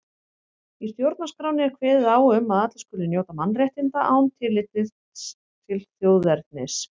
Í stjórnarskránni er kveðið á um að allir skuli njóta mannréttinda án tillits til þjóðernis.